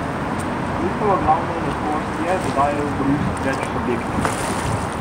Njihova glavna lastnost je, da dajejo korist več subjektom.